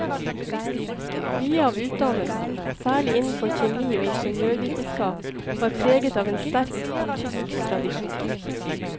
Mye av utdannelsen, særlig innenfor kjemi og ingeniørvitenskap, var preget av en sterkt tysk tradisjon.